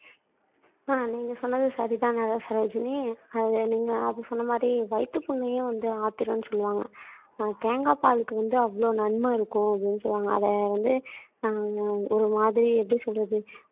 ஆஹ் நீங்க சொன்னது சரிதான் சரோஜினி அத நீங்க அப்ப சொன்ன மாதிரி வயித்து புண்ணையும் வந்து ஆத்திரும்ன்னு சொல்லுவாங்க ஆஹ் தேங்காய் பாலுக்கு வந்து அவ்வளவு நன்மை இருக்கும் அப்படின்னு சொல்லுவாங்க அத வந்து ஆஹ் ஒரு மாதிரி எப்படி சொல்றது